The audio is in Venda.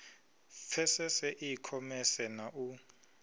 pfesese i khomese na u